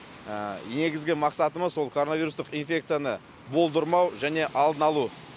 негізгі мақсатымыз ол коронавирустық инфекцияны болдырмау және алдын алу